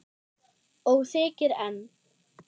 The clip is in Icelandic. Og þykir enn.